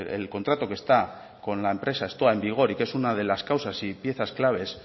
el contrato que está con la empresa stoa que es una de las causas y piezas claves